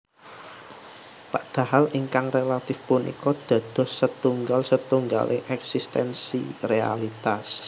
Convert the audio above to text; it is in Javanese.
Padahal ingkang relatif punika dados setunggal setunggaling éksistensi realitas